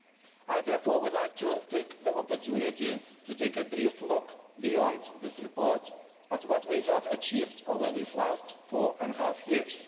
I therefore would like to take the opportunity to take a brief look beyond this report at what we have achieved over this last four and a half years.